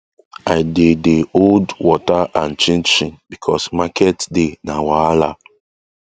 i dey dey hold water and chin chin because market day na wahala